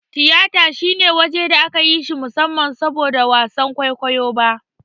Tiyata shine waje da aka yi shi musamman saboda wasan kwaikwayo ba.